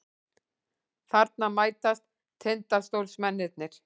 Þarna mætast Tindastólsmennirnir.